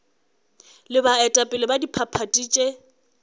le baetapele ba diphathi tše